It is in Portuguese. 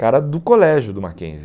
Cara do colégio do Mackenzie.